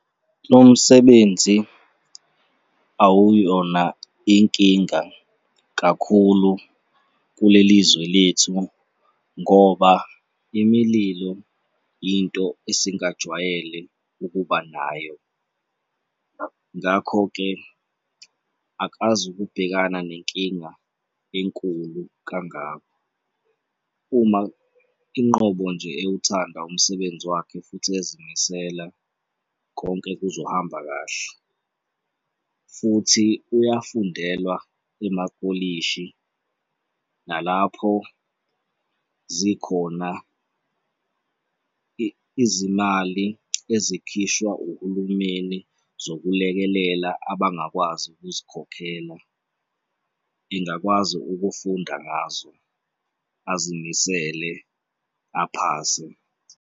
Lo msebenzi awuyona inkinga kakhulu kuleli zwe lethu ngoba imililo into esingajwayele ukuba nayo. Ngakho-ke, akazukubhekana nenkinga enkulu kangako, uma inqobo nje ewuthanda umsebenzi wakhe futhi ezimisela konke kuzohamba kahle futhi uyafundelwa emakolishi nalapho zikhona izimali ezikhishwa uhulumeni zokulekelela abangakwazi ukuzikhokhela engakwazi ukufunda ngazo, azimisele aphase.